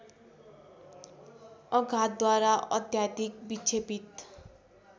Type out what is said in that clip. अघातद्वारा अत्याधिक विक्षेपित